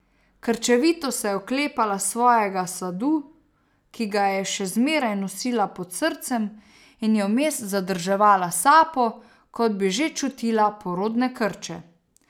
Krčevito se je oklepala svojega sadu, ki ga je še zmeraj nosila pod srcem, in je vmes zadrževala sapo, kot bi že čutila porodne krče.